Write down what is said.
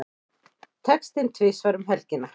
Tekinn tvisvar um helgina